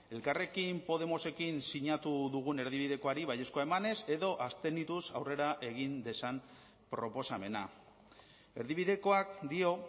elkarrekin podemosekin sinatu dugun erdibidekoari baiezkoa emanez edo abstenituz aurrera egin dezan proposamena erdibidekoak dio